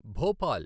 Bhopal